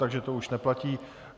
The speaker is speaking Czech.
Takže to už neplatí.